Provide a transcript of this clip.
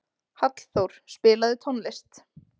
Hallþór, spilaðu tónlist.